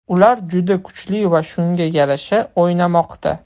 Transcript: Ular juda kuchli va shunga yarasha o‘ynamoqda.